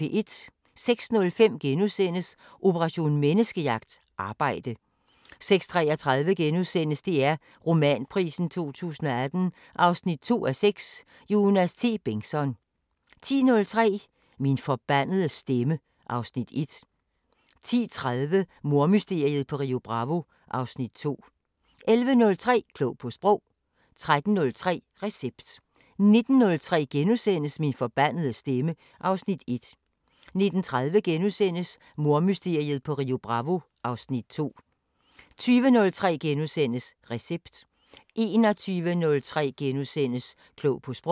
06:05: Operation Menneskejagt: Arbejde * 06:33: DR Romanprisen 2018 2:6 – Jonas T. Bengtsson * 10:03: Min forbandede stemme (Afs. 1) 10:30: Mordmysteriet på Rio Bravo (Afs. 2) 11:03: Klog på Sprog 13:03: Recept 19:03: Min forbandede stemme (Afs. 1)* 19:30: Mordmysteriet på Rio Bravo (Afs. 2)* 20:03: Recept * 21:03: Klog på Sprog *